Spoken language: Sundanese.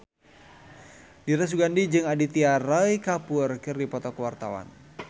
Dira Sugandi jeung Aditya Roy Kapoor keur dipoto ku wartawan